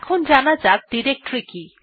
এখন জানা যাক ডিরেক্টরী কি